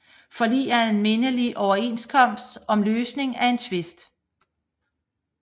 Forlig er en mindelig overenskomst om løsningen af en tvist